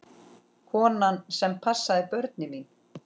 Konan sem passaði börnin mín.